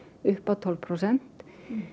upp á tólf prósent